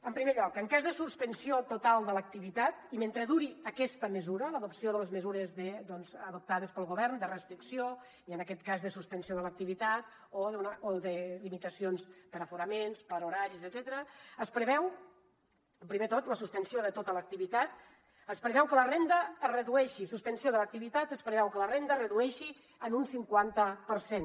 en primer lloc en cas de suspensió total de l’activitat i mentre duri aquesta mesura l’adopció de les mesures adoptades pel govern de restricció i en aquest cas de suspensió de l’activitat o de limitacions per aforaments per horaris etcètera es preveu primer de tot la suspensió de tota l’activitat es preveu que la renda es redueixi suspensió de l’activitat es preveu que la renda es redueixi en un cinquanta per cent